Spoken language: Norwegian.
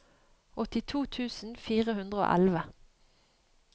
åttito tusen fire hundre og elleve